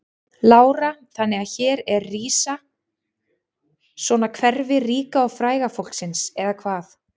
Lára: Þannig að hér er rísa svona hverfi ríka og fræga fólksins eða hvað?